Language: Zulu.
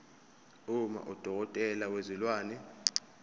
uma udokotela wezilwane